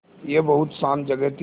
यह बहुत शान्त जगह थी